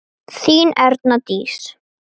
Þín Erna Dís.